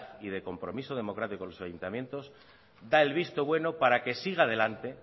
y de compromiso democrático con los ayuntamientos da el visto bueno para que siga adelante